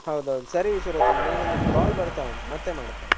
ಹೌದೌದ್ ಸರಿ ವಿಶ್ವರತನ್ ನನಿಗೊಂದು call ಬರ್ತಾವುಂಟ್ ಮತ್ತೆ ಮಾಡ್ತೇನೆ.